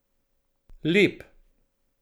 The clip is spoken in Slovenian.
Lep.